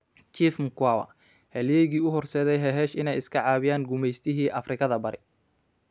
Chief Mkwawa: Halyeygii u horseeday Hehesh inay iska caabiyaan gumaystihii Afrikada Bari